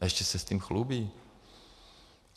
A ještě se s tím chlubí.